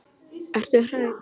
Ertu hrædd?